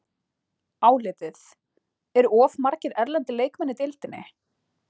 Álitið: Eru of margir erlendir leikmenn í deildinni?